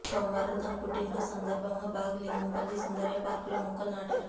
సోమవారం తన పుట్టినరోజు సందర్భంగా బాగ్ లింగంపల్లి సుందరయ్య పార్క్ లో మొక్కలు నాటారు